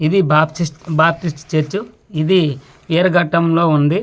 ఇది Baptist Baptist church ఇది విరగటం లో ఉంది.